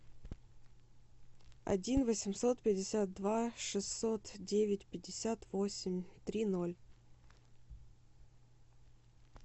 один восемьсот пятьдесят два шестьсот девять пятьдесят восемь три ноль